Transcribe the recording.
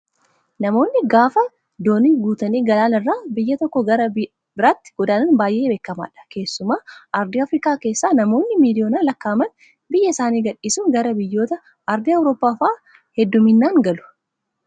Namoonni gaafa doonii guutanii galaana irra biyya tokkoo gara biraatti godaanan baay'ee beekamaadha. Keessumaa Arsii Afrikaa keessaa namoonni miliyoonaan lakkaa'aman biyya isaanii gadhiisanii gara biyyoota Ardii Awuroppaa fa'aa hedduminaan galu.